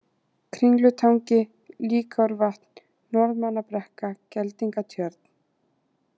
Kringlutangi, Líkárvatn, Norðmannabrekka, Geldingatjörn